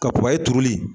Ka turu